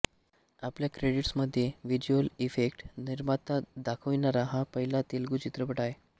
आपल्या क्रेडिट्समध्ये visual effect निर्माता दखविणारा हा पहिला तेलगू चित्रपट आहे